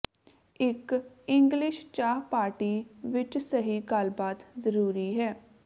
ਇੱਕ ਇੰਗਲਿਸ਼ ਚਾਹ ਪਾਰਟੀ ਵਿੱਚ ਸਹੀ ਗੱਲਬਾਤ ਜ਼ਰੂਰੀ ਹੈ